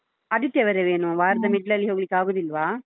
ಆದಿತ್ಯವಾರವೇ ಏನು ವಾರದ middle ಲ್ಲಿ ಹೋಗ್ಲಿಕ್ ಆಗುದಿಲ್ವಾ?